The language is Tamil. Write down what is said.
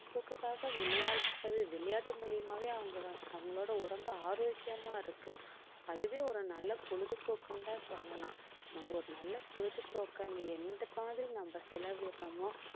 பொழுதுபோக்குக்காக விளையாடுறது விளையாட்டு மூலியமாவே அவங்க வந்~ அவங்களோட உடம்பு ஆரோக்கியமா இருக்கு அதுவே ஒரு நல்ல பொழுதுபோக்குன்னு தான் சொல்லலாம் நம்ம ஒரு நல்ல பொழுதுபோக்குன்னு எந்த மாதிரி நம்ம செலவிடுறோமோ